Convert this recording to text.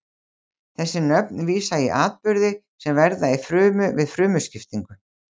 þessi nöfn vísa í atburði sem verða í frumu við frumuskiptingu